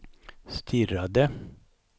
stirrade